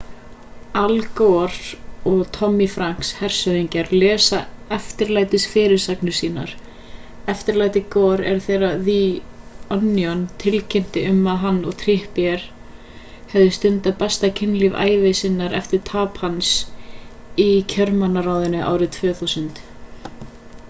al gore og tommy franks hershöfðingi lesa eftirlætis fyrirsagnirnar sínar eftirlæti gore er þegar the onion tilkynnti um að hann og tipper hefðu stundað besta kynlíf ævi sinnar eftir tap hans í kjörmannaráðinu árið 2000